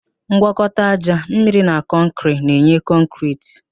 Ngwakọta ájá, mmiri na kọnkịrị na-enye kọnkịriti